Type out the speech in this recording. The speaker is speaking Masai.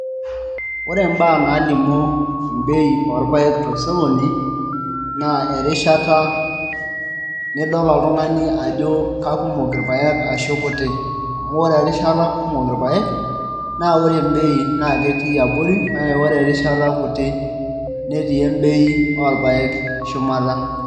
Ore imbaa naalimu mbei orpaek tosokoni naa erishata nidol oltung'ani ajo kakumok irpaek ashu kutik amu ore erishata kumok irpaek naa ore embei naa ketii abori kake ore erishata kuti naa ketii embei orpaek shumata.